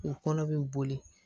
U kɔnɔ bɛ boli